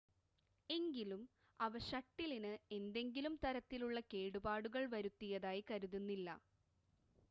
എങ്കിലും അവ ഷട്ടിലിന് എന്തെങ്കിലും തരത്തിലുള്ള കേടുപാടുകൾ വരുത്തിയതായി കരുതുന്നില്ല